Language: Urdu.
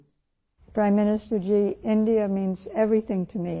وزیر اعظم جی ، بھارت میرے لئے سب کچھ ہے